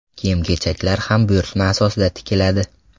Kiyim-kechaklar ham buyurtma asosida tikiladi.